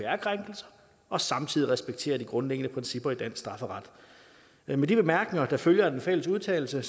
krænkelser og samtidig respekterer de grundlæggende principper i dansk strafferet med de bemærkninger der følger af den fælles udtalelse